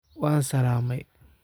Waan salamey.